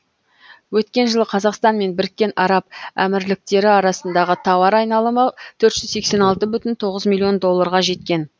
өткен жылы қазақстан мен біріккен араб әмірліктері арасындағы тауар айналымы төрт жүз сексен алты бүтін тоғыз миллион долларға жеткен